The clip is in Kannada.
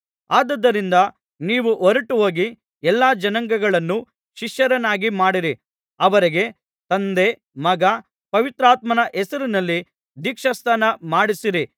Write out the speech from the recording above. ಆದುದರಿಂದ ನೀವು ಹೊರಟುಹೋಗಿ ಎಲ್ಲಾ ಜನಾಂಗಗಳನ್ನು ಶಿಷ್ಯರನ್ನಾಗಿ ಮಾಡಿ ಅವರಿಗೆ ತಂದೆ ಮಗ ಪವಿತ್ರಾತ್ಮನ ಹೆಸರಿನಲ್ಲಿ ದೀಕ್ಷಾಸ್ನಾನ ಮಾಡಿಸಿರಿ